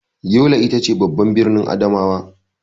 Yola ita ce babban birnin Adamawa.